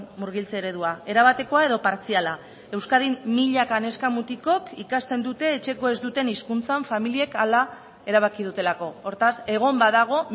murgiltze eredua erabatekoa edo partziala euskadin milaka neska mutikok ikasten dute etxeko ez duten hizkuntzan familiek hala erabaki dutelako hortaz egon badago